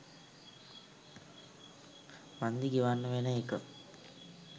වන්දි ගෙවන්න වෙන එක.